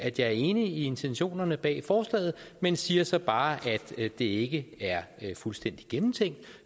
at jeg er enig i intentionerne bag forslaget men siger så bare at det ikke er fuldstændig gennemtænkt